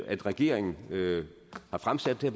at regeringen har fremsat det